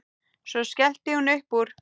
Svo skellti hún upp úr.